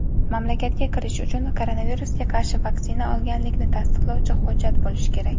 mamlakatga kirish uchun koronavirusga qarshi vaksina olganlikni tasdiqlovchi hujjat bo‘lishi kerak.